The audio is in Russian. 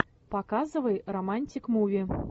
показывай романтик муви